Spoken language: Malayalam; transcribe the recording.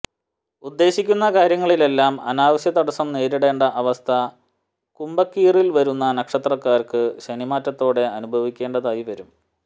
ഉദ്ദേശിക്കുന്ന കാര്യങ്ങളിലെല്ലാം അനാവശ്യ തടസ്സം നേരിടേണ്ട അവസ്ഥ കുംഭക്കീറിൽ വരുന്ന നക്ഷത്രക്കാർക്ക് ശനിമാറ്റത്തോടെ അനുഭവിക്കേണ്ടതായി വരും